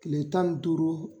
Kile tan ni duuru